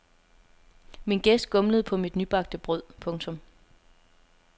Min gæst gumlede på mit nybagte brød. punktum